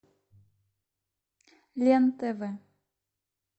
лен тв